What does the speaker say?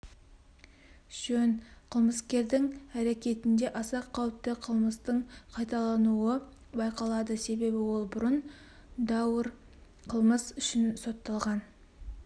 жөн қылмыскердің әрекетінде аса қауіпті қылмыстың қайталануы байқалады себебі ол бұрын даауыр қылмыс үшін сотталған